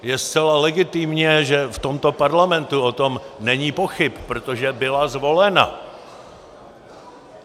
Je zcela legitimní, že v tomto Parlamentu o tom není pochyb, protože byla zvolena.